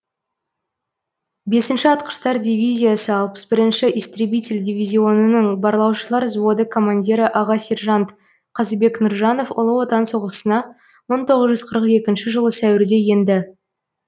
бесінші атқыштар дивизиясы алпыс бірінші истребитель дивизионының барлаушылар взводы командирі аға сержант қазыбек нұржанов ұлы отан соғысына мың тоғыз жүз қырық екінші жылы сәуірде енді